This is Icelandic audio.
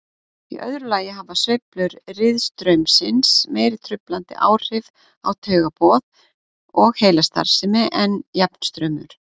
Í öðru lagi hafa sveiflur riðstraumsins meiri truflandi áhrif á taugaboð og heilastarfsemi en jafnstraumur.